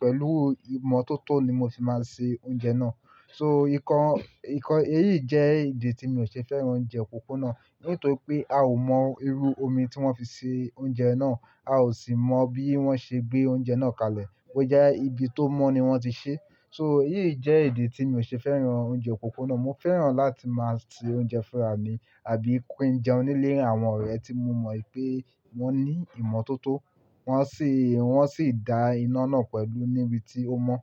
pẹ̀lú ìmọ̀ tótọ́ ni mo fi máa ń ṣe oúnjẹ náà. So ìkọ, ìkọ èyí jẹ́ ìdí tí mi ò ṣe fẹ́ràn oúnjẹ òpópónà, nítorí pé a ò mọ irú omi tí wọ́n fi ṣe oúnjẹ náà, a ò sì mọ bí wọ́n ṣe gbé oúnjẹ náà kalẹ̀. Ọjà ibi tó mọ́ ni wọ́n ti ṣe. So èyí jẹ́ ìdí tí mi ò ṣe fẹ́ràn oúnjẹ òpópónà. Mo fẹ́ràn láti máa ṣe oúnjẹ fún ara mi àbí kí n jẹun nílé àwọn ọ̀rẹ́ tí mo mọ̀ pé wọ́n ní ìmọ̀ tótọ́, wọ́n sì, wọ́n sì da iná náà pẹ̀lú níbi tí ó mọ́.